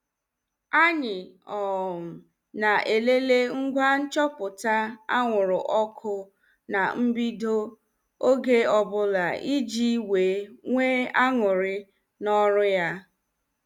Anyị um na-elele ngwa nchọpụta anwụrụ ọkụ na mbido oge ọbụla iji wee nwee aṅụrị n'oru ya.